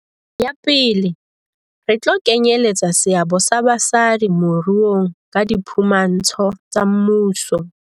Ya pele, re tlo kenyeletsa seabo sa basadi moruong ka diphu mantsho tsa mmuso.